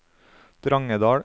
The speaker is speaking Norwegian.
Drangedal